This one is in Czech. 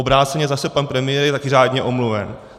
Obráceně zase - pan premiér je taky řádně omluven.